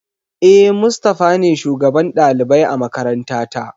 E, Mustafa ne shugaban ɗalibai a makarantata.